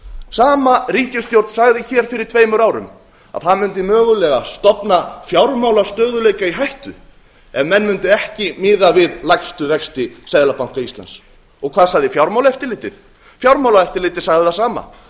sama ríkisstjórn sagði hér fyrir tveimur árum að það mundi mögulega stofna fjármálastöðugleika í hættu ef menn mundu ekki miða við lægstu vexti seðlabanka íslands og hvað sagði fjármálaeftirlitið fjármálaeftirlitið sagði það sama